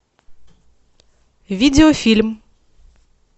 видеофильм